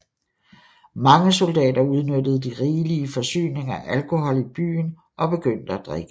Mange soldater udnyttede de rigelige forsyninger af alkohol i byen og begyndte at drikke